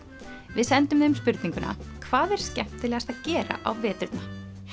við sendum þeim spurninguna hvað er skemmtilegast að gera á veturna